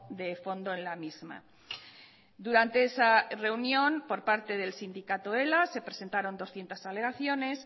de fondo en la misma durante esa reunión por parte del sindicato ela se presentaron doscientos alegaciones